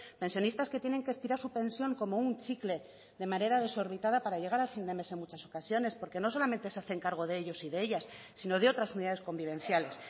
pensionistas que tienen que estirar su pensión como un chicle de manera desorbitada para llegar a fin de mes en muchas ocasiones porque no solamente se hacen cargos de ellas y de ellos sino de otras unidades convivenciales